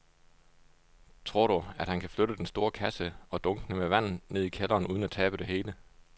Tror du, at han kan flytte den store kasse og dunkene med vand ned i kælderen uden at tabe det hele?